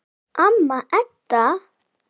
Amma Edda.